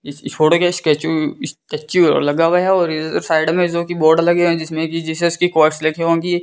इस फोटो का स्केचु स्टैचू लगा हुआ है और साइड में जो कि बोर्ड लगे हैं जिसमें की जीसस की लगी होगी।